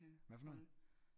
Hvad for noget